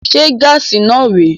Se gaasi náà rè é?